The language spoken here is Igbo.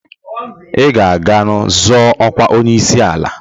I ga-aga zọọnụ ọkwa onyeisiala!